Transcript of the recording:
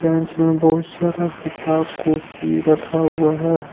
Branch में बहुत सारा किताब कॉपी रखा हुआ है।